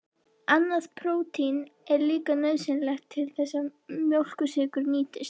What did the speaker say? Annað prótín er líka nauðsynlegt til þess að mjólkursykur nýtist.